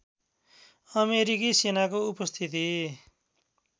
अमेरिकी सेनाको उपस्थिति